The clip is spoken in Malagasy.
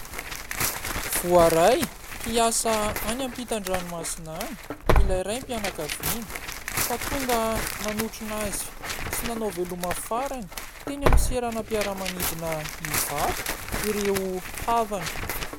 Voaray hiasa any ampitan-dranomasina any ilay raim-pianakaviana ka tonga nanotrona azy sy nanao veloma farany teny amin'ny seranam-piaramanidina Ivato ireo havana.